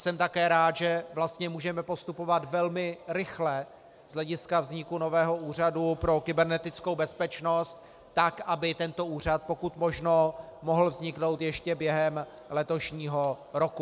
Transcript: Jsem také rád, že vlastně můžeme postupovat velmi rychle z hlediska vzniku nového úřadu pro kybernetickou bezpečnost, tak aby tento úřad pokud možno mohl vzniknout ještě během letošního roku.